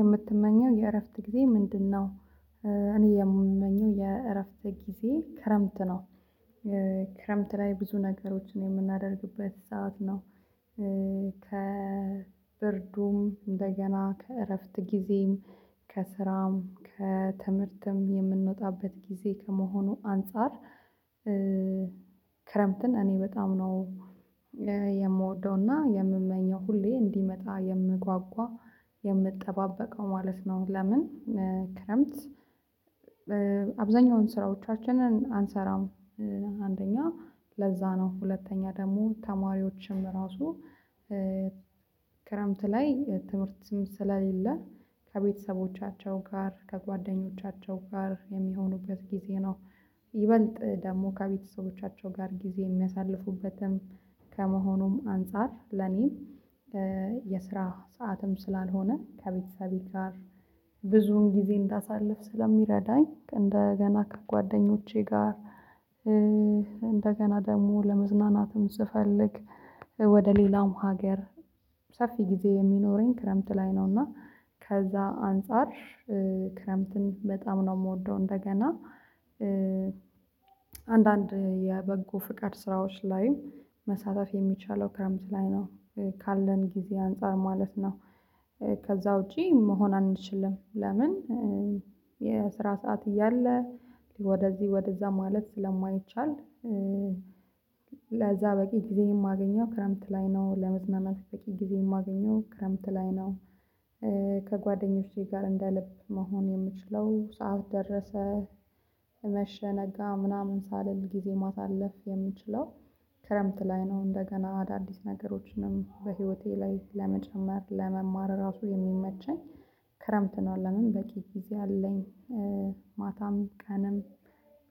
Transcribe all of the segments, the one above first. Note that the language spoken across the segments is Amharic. የምትመኘው የእረፍት ጊዜ ምንድነው? እኔ የምመኘው የእረፍት ጊዜ ክረምት ነው ክረምት ላይ ብዙ ነገሮችን የምናደርግበት ሰዓት ነው ከብርዱም እንደገና ከእረፍት ጊዜም ከስራም ከትምህርትም የምንወጣበት ጊዜ ከመሆኑ አንፃር ክረምትን እኔ በጣም ነው የምወደውና የምመኘው ሁሌ እንዲመጣ የምጓጓ የምጠባበቀው ማለት ነው ለምን ክረምት አብዛኛውን ስራዎቻችንን አንሰራም አንደኛ ለዛ ነው ሁለተኛ ደግሞ ተማሪዎችም ራሱ ክረምት ላይ ትምህርት ስለሌለ ከቤተሰቦቻቸው ጋር ከጓደኞቻቸው ጋር የሚሆኑበት ጊዜ ነው ይበልጥ ደግሞ ከቤተሰቦቻቸው ጋር ጊዜ የሚያሳልፉበትም ከመሆኑም አንፃር ለኔም የስራ ሰዓትም ስላልሆነ ከቤተሰቤ ጋር ብዙውን ጊዜ እንዳሳልፍ ስለሚረዳኝ እንደገና ከጓደኞቼ ጋር እንደገና ደግሞ ለመዝናናትም ስፈልግ ወደ ሌላውም ሀገር ሰፊ ጊዜ የሚኖረኝ ክረምት ላይ ነው እና ከዛ አንፃር ክረምትን በጣም ነው የምወደው እንደገና አንዳንድ የበጎ ፍቃድ ስራዎች ላይም መሳተፍ የሚቻለው ክረምት ላይ ነው ካለን ጊዜ አንፃር ማለት ነው ከዛ ውጪ መሆን አንችልም ለምን የስራ ሰዓት እያለ ወደዚህ ወደዛ ማለት ስለማይቻል ለዛ በቂ ጊዜ የማገኘው ክረምት ላይ ነው ለመዝናናት በቂ ጊዜ የማገኘው ክረምት ላይ ነው ከጓደኞቼ ጋር እንደ ልብ መሆን የምችለው ሰዓቱ ደረሰ መሸ ነጋ ምናምን ሳልል ጊዜ ማሳለፍ የምችለው ክረምት ላይ ነው እንደገና አዳዲስ ነገሮችንም በህይወቴ ላይ ለመጨመር ለመማር ራሱ የሚመቸኝ ክረምት ነው ለምን በቂ ጊዜ አለኝ ማታም ቀንም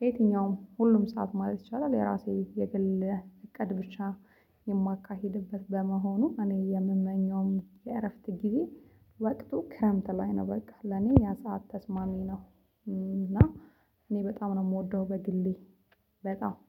የትኛውም ሁሉም ሰዓት ማለት ይቻላል የራሴ የግል እቅድ ብቻ የማካሂድበት በመሆኑ እኔ የምመኘውም የእረፍት ጊዜ ወቅቱ ክረምት ላይ ነው በቃ ለኔ ያ ሰዓት ተስማሚ ነው እና እኔ በጣም ነው የምወደው በግሌ በጣም